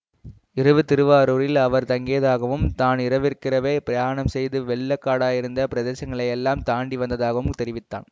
இரவு திருவாரூரில் அவர் தங்கியதாகவும் தான் இரவுக்கிரவே பிரயாணம் செய்து வெள்ள காடாயிருந்த பிரதேசங்களையெல்லாம் தாண்டி வந்ததாகவும் தெரிவித்தான்